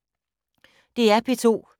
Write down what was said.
DR P2